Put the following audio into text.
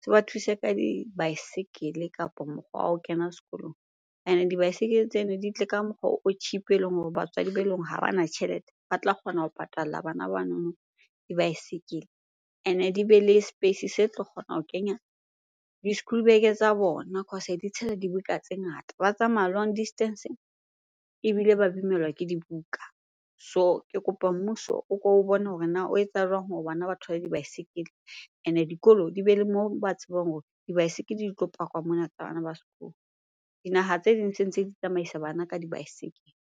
se ba thuse ka dibaesekele kapa mokgwa wa ho kena sekolong. Ene dibaesekele tsena di tle ka mokgwa o cheap-e eleng hore batswadi beleng hore ha bana tjhelete, ba tla kgona ho patalla bana banono dibaesekele. Ene di be le space se tlo kgona ho kenya di-schoolbag tsa bona cause di tshela dibuka tse ngata, ba tsamaya long distance ebile ba bimelwa ke dibuka. So ke kopa mmuso o ko o bone hore na o etsa jwang hore bana ba thole di baesekele? Ene dikolo di bele moo ba tsebang hore dibaesekele di tlo pakwa mona tsa bana ba sekolo. Dinaha tse ding se ntse di tsamaisa bana ka dibaesekele.